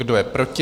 Kdo je proti?